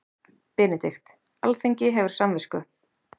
BENEDIKT: Alþingi hefur samvisku.